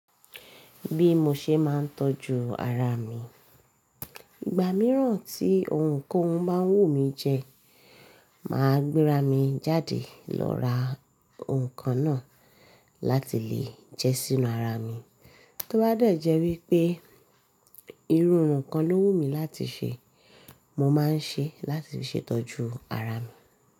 Bí mo ṣe máa ń tọ́jú ara mi, ìgbà mìíràn tí ohun kan bá wù mí jẹ, màá gbéra mi jáde lọ ra ohun kan náà láti lè jẹ́ sínú ara mi. Tó bá dé jẹ́ wípé irú irun kan ló wù mí láti se, mo máa ń ṣe é láti fi ṣètọ́jú ara mi.